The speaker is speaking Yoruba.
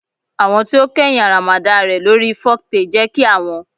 Awọn ti o kẹhin aramada l re lori foktale je ki awon